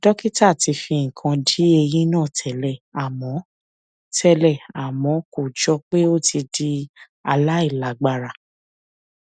dókítà ti fi nǹkan di eyín náà tẹlẹ àmọ tẹlẹ àmọ kò jọ pé ó ti di aláìlágbára